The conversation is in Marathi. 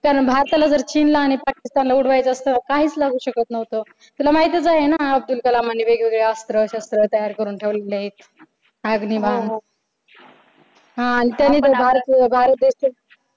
त्यानं भारताला जर चीन ला आणि पाकिस्तानला उडवायचा असत तर काहीच लागू शकत न्हवत. तुला माहीतच आहे ना अब्दुल कलाम यांनी वेगवेगळे अस्त्र शस्त्र तयार करून ठेवलेले आहेत. अग्निबाण हो. हा आणि